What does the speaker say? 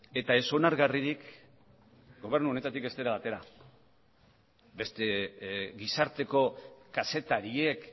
eta ez onargarririk gobernu honetatik ez dela atera beste gizarteko kazetariek